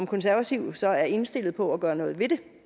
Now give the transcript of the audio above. konservative så indstillet på at gøre noget